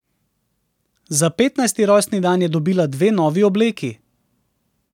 Za petnajsti rojstni dan je dobila dve novi obleki.